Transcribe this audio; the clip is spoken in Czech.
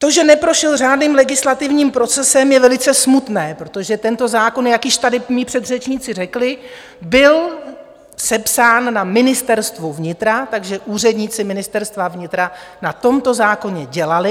To, že neprošel řádným legislativním procesem, je velice smutné, protože tento zákon, jak již tady mí předřečníci řekli, byl sepsán na Ministerstvu vnitra, takže úředníci Ministerstva vnitra na tomto zákoně dělali.